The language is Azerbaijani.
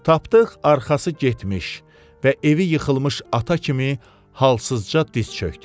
Tapdıq arxası getmiş və evi yıxılmış ata kimi halsızca diz çökdü.